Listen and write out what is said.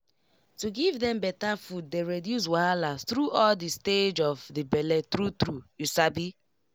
to give dem better food dey reduce wahala through all the stage of the bele true true you sabi